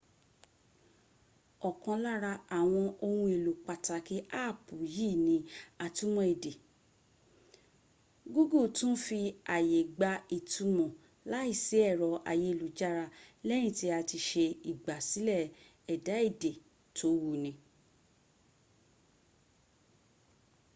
ọkàn lára àwọn ohun èlò pàtàkì áàpù yí ni atúmọ̀ èdè google tó fi aàyè gba ìtùmò láìsí ẹ̀rọ ayélujára lẹ́yìn tí a ti se igbàsílè ẹ̀dà èdè tó wuni